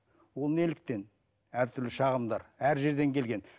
ол неліктен әртүрлі шағымдар әр жерден келген